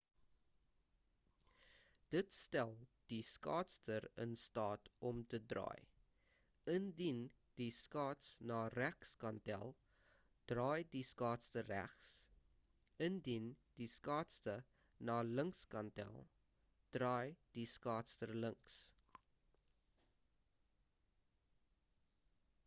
dit stel die skaatser in staat om te draai indien die skaats na regs kantel draai die skaatser regs indien die skaatse na links kantel draai die skaatser links